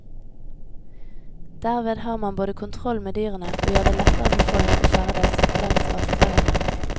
Derved har man både kontroll med dyrene og gjør det lettere for folk å ferdes langs vassdragene.